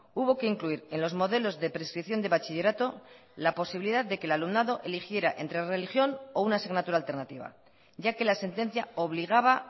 hubo que incluir en los modelos de prescripción de bachillerato la posibilidad de que el alumnado eligiera entre religión o una asignatura alternativa ya que la sentencia obligaba